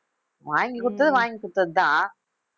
வாங்கி கொடுத்தது வாங்கி கொடுத்ததுதான்